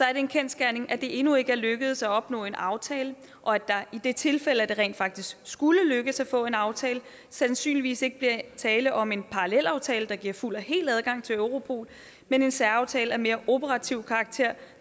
er det en kendsgerning at det endnu ikke er lykkedes at opnå en aftale og at der i det tilfælde at det rent faktisk skulle lykkes at få en aftale sandsynligvis ikke bliver tale om en parallelaftale der giver fuld og hel adgang til europol men en særaftale af mere operativ karakter